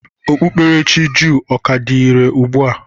Okpukperechi jụụ ọ ka dị irè ugbu a?